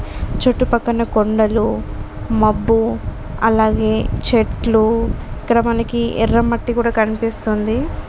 చుట్టూ పక్కల కొండలు మబ్బు అలాగే చెట్లు ఇక్కడ మనకు ఎర్ర మట్టి కూడా కనిపిస్తుంది.